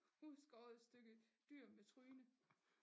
Udskåret stykke dyr med tryne